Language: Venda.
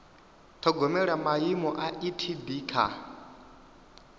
ṱhogomela maimo a etd kha